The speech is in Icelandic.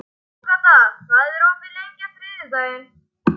Agata, hvað er opið lengi á þriðjudaginn?